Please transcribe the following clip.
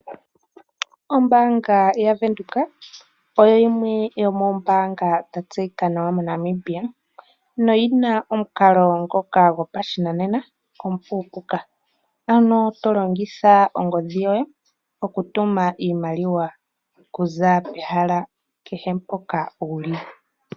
Ombaanga yavenduka oyo yimwe yoomoombanga dha tseyika nawa moNamibia, noyina omukalo ngoka gopashinanena omupu, ano tolongitha ongodhi yoye okutuma iimaliwa, okuza pehala kehe mpoka wuli.